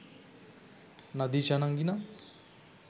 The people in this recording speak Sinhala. නදීෂා නංගි නම්